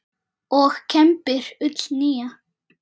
og kembir ull nýja.